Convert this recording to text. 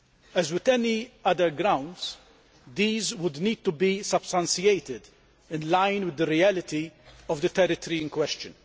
As with any other grounds, these would need to be substantiated in line with the reality of the territory in question.